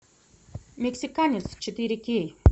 мексиканец четыре кей